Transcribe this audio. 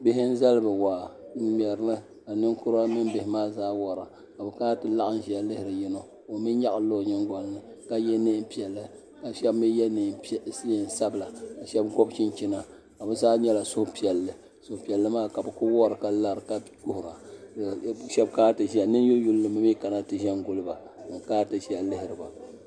Bihi n zali bi waa n ŋmɛri li ka ninkura mini bihi maa zaa wora ka bi kana n ti laɣim n ziya lihiri yino ka o mi nyaɣi li la o yiŋgoli nika yiɛ nɛɛn piɛlli ka shɛba mi yiɛ nɛɛn sabila ka shɛba gɔbi chinchina ka bi zaa nila suhipiɛlli suhupiɛlli maa ka bi kuli wori ka lara ka kuhira ka ninyula yuuni ba mi kan ti zɛnguli ba n kana ti zɛya lihiri ba.